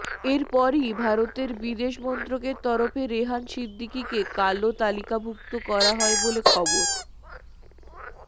এরপরই ভারতের বিদেশ মন্ত্রকের তরফে রেহান সিদ্দিকিকে কালো তালিকাভুক্ত করা হয় বলে খবর